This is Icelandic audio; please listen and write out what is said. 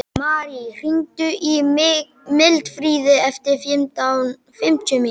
Marí, hringdu í Mildfríði eftir fimmtíu mínútur.